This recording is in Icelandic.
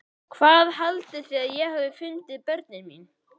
Hvað haldið þið að ég hafi fundið börnin mín?